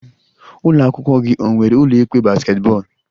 Ụlọ akwụkwọ gị ọ nwere ụlọ ikpe basketball?